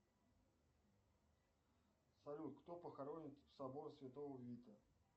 салют кто похоронен в соборе святого вита